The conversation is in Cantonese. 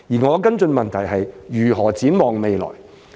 我的補充質詢是：如何展望未來？